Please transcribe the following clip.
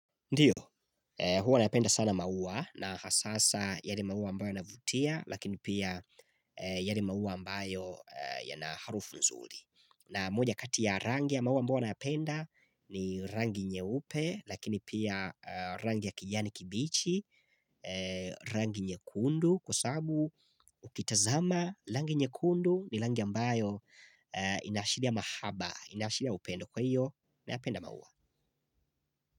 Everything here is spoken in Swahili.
Ndiyo, huwa napenda sana maua na hasasa yale maua ambayo yanavutia lakini pia yale maua ambayo yana harufu nzuri. Na moja kati rangi ya maua ambayo nayapenda ni rangi nyeupe lakini pia rangi ya kijani kibichi, rangi nyekundu kwa sabu ukitazama rangi nyekundu ni rangi ambayo inaashiria mahaba, inaashiria upendo kwa hiyo nayapenda maua.